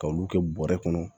K'olu kɛ bɔrɛ kɔnɔ